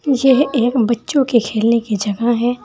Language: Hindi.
यह एक बच्चों के खेलने की जगह है।